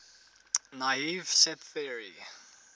naive set theory